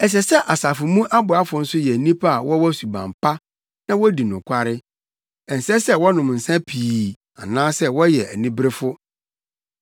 Ɛsɛ sɛ asafo mu aboafo nso yɛ nnipa a wɔwɔ suban pa na wodi nokware. Ɛnsɛ sɛ wɔnom nsa pii anaasɛ wɔyɛ aniberefo.